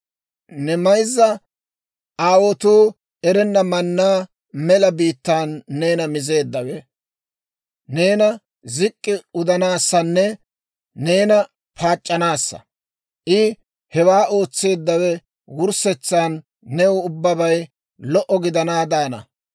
Ne mayzza aawotuu erenna mannaa mela biittaan neena mizeeddawe, neena zik'k'i udanaassanne neena paac'c'anaassa; I hewaa ootseeddawe wurssetsan new ubbabay lo"o gidanaadaana.